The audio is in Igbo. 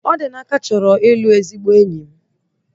Odinaka chọrọ ịlụ ezigbo enyi m